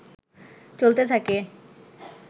চলতে থাকে